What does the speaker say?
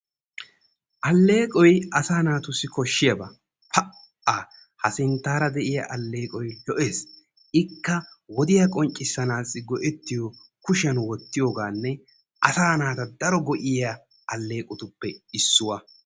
Alleeqqoy asaa naatussi koshiyaaba. Pa''a! Ha sinttaara de'iya alleeqqoy lo''ees. Ikka wodiya qonccissanaassi go'ettiyo kushiyan wottiyogaanne asaa naata daro go''iya alleeqqotuppe issuwa.